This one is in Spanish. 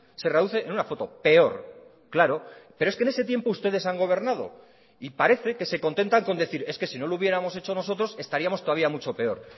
se reduce en una foto peor claro pero es que en ese tiempo ustedes han gobernado y parece que se contentan con decir es que si no lo hubiéramos hecho nosotros estaríamos todavía mucho peor